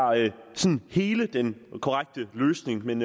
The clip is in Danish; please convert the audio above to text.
hele den korrekte løsning men